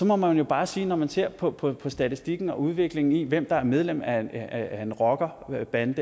må man jo bare sige når man ser på på statistikken og udviklingen i hvem der er medlem af en rockerbande